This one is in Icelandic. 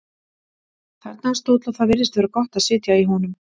Þarna er stóll og það virðist vera gott að sitja í honum.